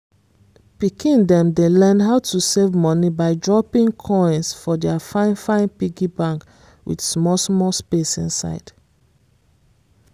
pikin dem dey learn how to save money by dropping coins for their fine-fine piggy bank with small-small space inside.